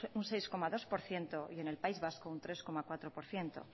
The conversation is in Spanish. un seis coma dos por ciento y en el país vasco un tres coma cuatro por ciento